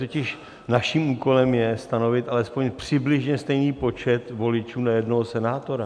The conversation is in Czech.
Totiž naším úkolem je stanovit alespoň přibližně stejný počet voličů na jednoho senátora.